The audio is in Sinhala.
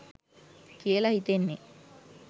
කියල හිතෙන්නෙ.